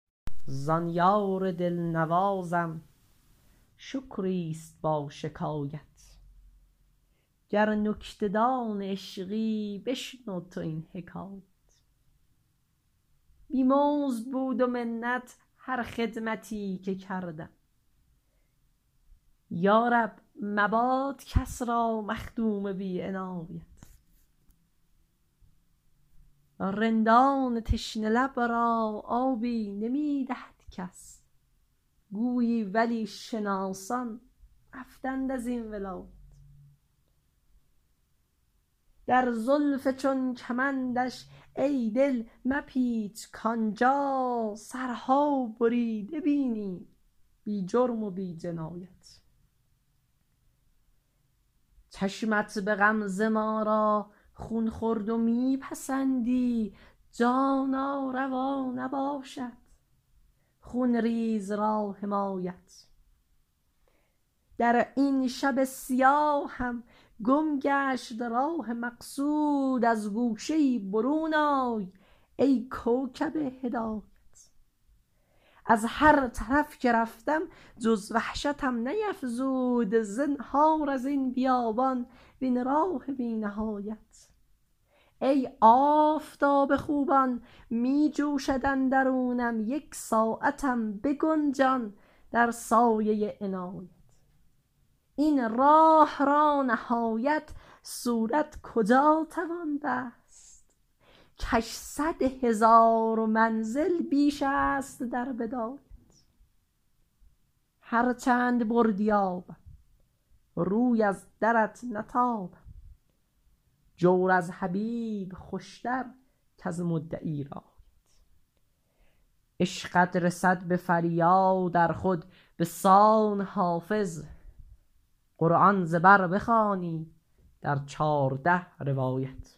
زان یار دل نوازم شکری است با شکایت گر نکته دان عشقی بشنو تو این حکایت بی مزد بود و منت هر خدمتی که کردم یا رب مباد کس را مخدوم بی عنایت رندان تشنه لب را آبی نمی دهد کس گویی ولی شناسان رفتند از این ولایت در زلف چون کمندش ای دل مپیچ کآن جا سرها بریده بینی بی جرم و بی جنایت چشمت به غمزه ما را خون خورد و می پسندی جانا روا نباشد خون ریز را حمایت در این شب سیاهم گم گشت راه مقصود از گوشه ای برون آی ای کوکب هدایت از هر طرف که رفتم جز وحشتم نیفزود زنهار از این بیابان وین راه بی نهایت ای آفتاب خوبان می جوشد اندرونم یک ساعتم بگنجان در سایه عنایت این راه را نهایت صورت کجا توان بست کش صد هزار منزل بیش است در بدایت هر چند بردی آبم روی از درت نتابم جور از حبیب خوش تر کز مدعی رعایت عشقت رسد به فریاد ار خود به سان حافظ قرآن ز بر بخوانی در چارده روایت